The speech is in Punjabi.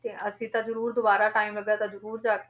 ਤੇ ਅਸੀਂ ਤਾਂ ਜ਼ਰੂਰ ਦੁਬਾਰਾ time ਲੱਗਿਆ ਤਾਂ ਜ਼ਰੂਰ ਜਾ ਕੇ